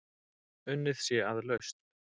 Unnið sé að lausn.